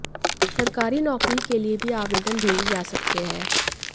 सरकारी नौकरी के लिए भी आवेदन भेजे जा सकते हैं